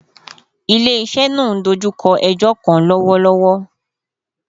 Ile-iṣẹ naa n dojukọ ẹjọ kan lọwọlọwọ